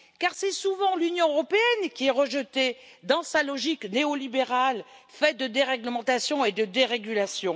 C'est en effet souvent l'Union européenne qui est rejetée dans sa logique néolibérale, faite de déréglementation et de dérégulation.